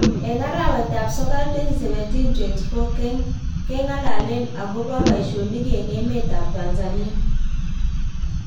Eng arawet ap sokol 2017,24,keng ngalalen akopa paishonik eng emet ap tanzania